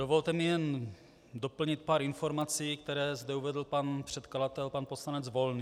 Dovolte mi jen doplnit pár informací, které zde uvedl pan předkladatel pan poslanec Volný.